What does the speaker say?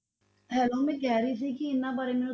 Hello ਮੈਂ ਕਹਿ ਰਹੀ ਸੀ ਕਿ ਇਹਨਾਂ ਬਾਰੇ ਮੈਨੂੰ